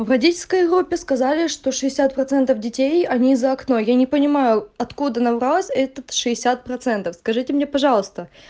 в водительской группе сказали что шестьдесят процентов детей они из-за окно но я не понимаю откуда набралось этот шестьдесят процентов скажите мне пожалуйста